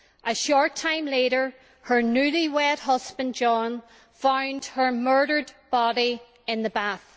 A short time later her newly wed husband John found her murdered body in the bath.